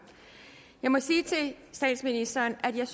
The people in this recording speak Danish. jeg må sige til statsministeren at jeg